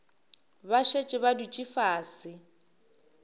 ba šetše ba dutše fase